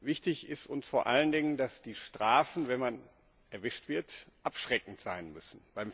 Wichtig ist uns vor allen Dingen, dass die Strafen, wenn man erwischt wird, abschreckend sein müssen.